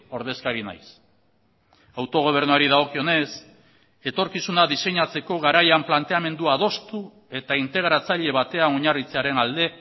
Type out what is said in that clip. ordezkari nahiz autogobernuari dagokionez etorkizuna diseinatzeko garaian planteamendua adostu eta integratzaile batean oinarritzearen alde